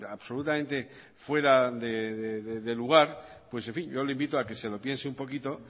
absolutamente fuera de lugar pues en fin yo le invito a que se lo piense un poquito